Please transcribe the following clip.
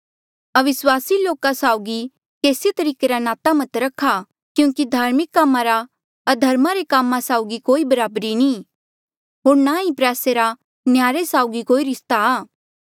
अविस्वासी लोका साउगी केसी तरीके रा नाता मत रखा क्यूंकि धार्मिक कामा रा अधर्मा रे कामा साउगी कोई बराबरी नी होर ना ही प्रयासे रा नह्यारे साउगी कोई रिस्ता आ